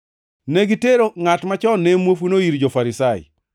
Ne gitero ngʼat machon ne muofuno ir jo-Farisai.